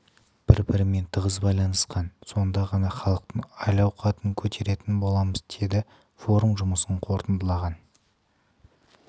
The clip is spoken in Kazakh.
бір бірімен тығыз байланысқан сонда ғана халықтың әл ауақтын көтеретін боламыз деді форум жұмысын қорытындылаған